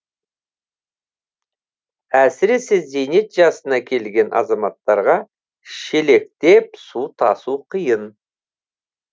әсіресе зейнет жасына келген азаматтарға шелектеп су тасу қиын